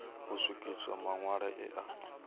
u swikiswa maṋwalo e a